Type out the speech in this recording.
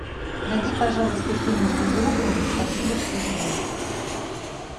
найди пожалуйста фильм с безруковым спасибо что живой